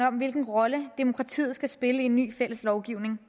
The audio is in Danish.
om hvilken rolle demokratiet skal spille i en ny fælles lovgivning